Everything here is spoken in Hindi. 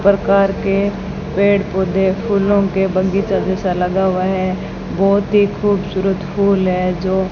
प्रकार के पेड़ पौधे फूलों के बगीचा जैसा लगा हुआ है बहोत ही खूबसूरत फूल है जो--